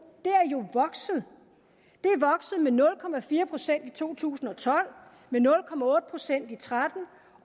jo er vokset med nul procent i to tusind og tolv med nul procent i tretten